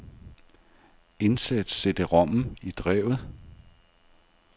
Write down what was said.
Indsæt cd-rommen i drevet.